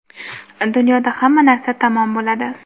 Dunyoda hamma narsa tamom bo‘ladi.